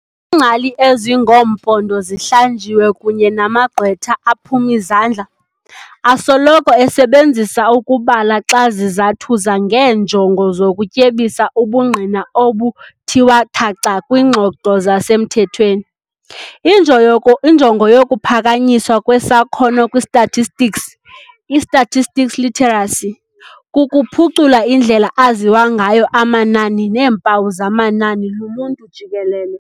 Ingcali ezingoompondo zihlanjiwe kunye namagqwetha aphum'izandla, asoloko esebenzisa ukubala xa zizathuza ngeenjongo zokutyebisa ubungqina obuthiwa thaca kwiingxoxo zasemthethweni. Injoyoku injongo yokuphakanyiswa kwesakhono kwistatistics, i-statistical literacy, kukuphucula indlela aziwa ngayo amanani neempawu zamanani luluntu jikelele.